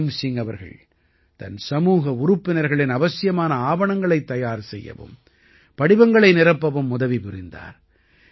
beam Singh அவர்கள் தன் சமூக உறுப்பினர்களின் அவசியமான ஆவணங்களைத் தயார் செய்யவும் படிவங்களை நிரப்பவும் உதவி புரிந்தார்